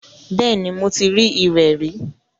Bẹ́ẹ̀ni, mo ti rí irẹ̀ rí.